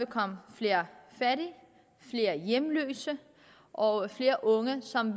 komme flere fattige flere hjemløse og flere unge som